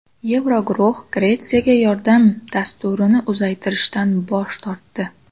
Yevroguruh Gretsiyaga yordam dasturini uzaytirishdan bosh tortdi.